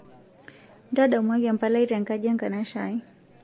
ntadamuaki empalai tenkaji e nkanashe aai